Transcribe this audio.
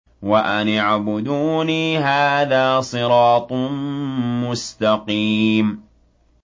وَأَنِ اعْبُدُونِي ۚ هَٰذَا صِرَاطٌ مُّسْتَقِيمٌ